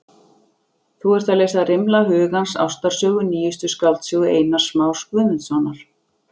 Þú ert að lesa Rimla hugans- ástarsögu, nýjustu skáldsögu Einars Más Guðmundssonar.